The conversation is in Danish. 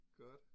Godt